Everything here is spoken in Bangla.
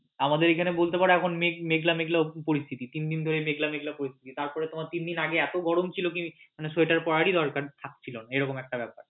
আমাদের এখানে বলতে পারো এখন মেঘলা মেঘলা পরিস্থিতি তিনদিন ধরে মেঘলা মেঘলা পরিস্থিতি তিনফদিন আগে এতো গরম ছিল মানে সোয়েটার পড়ারই দরকার পড়ছিল না।